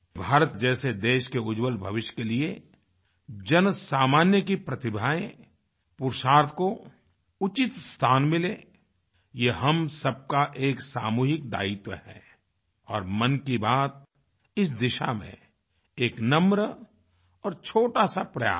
भारत जैसे देश के उज्ज्वल भविष्य के लिए जनसामान्य की प्रतिभाएँ पुरुषार्थ को उचित स्थान मिले यह हम सबका एक सामूहिक दायित्व है और मन की बात इस दिशा में एक नम्र और छोटा सा प्रयास है